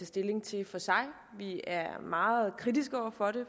stilling til for sig vi er meget kritiske over for det